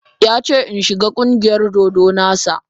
Ya ce in shiga ƙungiyar dodo na sa.